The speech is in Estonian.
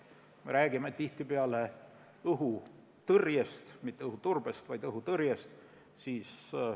Me räägime tihtipeale õhutõrjest – mitte õhuturbest, vaid õhutõrjest.